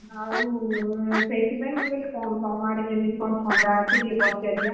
ଆଉ ସେଇଥିପାଇଁ ମୁଁ କହିଲି ତମ ଆଡେ କେମିତି କଣ ଥଣ୍ଡା ଅଛି ଟିକେ ପଚାରିବା